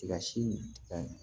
Ka si ka